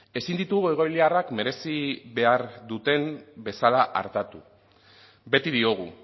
ezin ditugu egoiliarrak merezi behar duten bezala artatu beti diogu